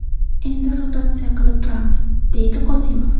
Endi rotatsiya qilib turamiz”, – deydi Qosimov.